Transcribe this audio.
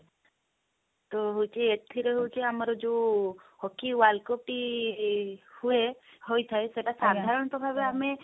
ତ ହଉଛି ଏଥିରେ ହଉଛି ଆମର ଯଉ hockey world cup ଟି ହୁଏ ହୋଇଥାଏ ସେଟା ସାଧାରଣ ତ ଭାବେ